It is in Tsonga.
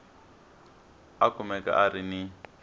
a kumeka a ri ni